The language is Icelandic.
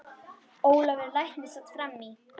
Ólafur læknir sat fram í.